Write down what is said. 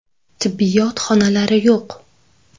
Tibbiyot xonalari yo‘q.